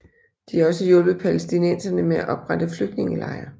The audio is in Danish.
De har også hjulpet palæstinenserne med at oprette flygtningelejre